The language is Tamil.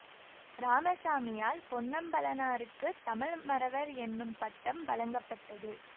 இராமசாமியால் பொன்னம்பலனாருக்குத் தமிழ்மறவர் என்னும் பட்டம் வழங்கப்பட்டது